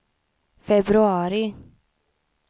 februari